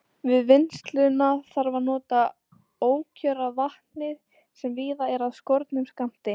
Við vinnsluna þarf að nota ókjör af vatni, sem víða er af skornum skammti.